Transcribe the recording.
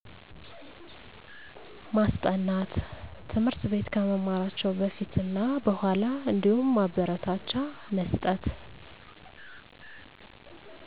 ማስጠናት ትምህርት ቤት ከመማራቸው በፊት እና በኋላ አንዲሁም ማበረታቻ መስጠት